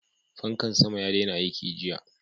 Fankan sama ya daina aiki jiya.